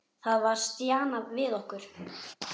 Það var stjanað við okkur.